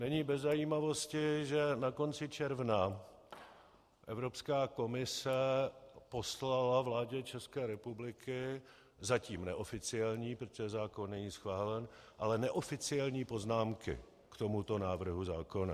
Není bez zajímavosti, že na konci června Evropská komise poslala vládě České republiky zatím neoficiální - protože zákon není schválen - ale neoficiální poznámky k tomuto návrhu zákona.